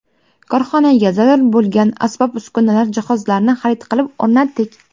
Korxonaga zarur bo‘lgan asbob-uskunalar, jihozlarni xarid qilib, o‘rnatdik.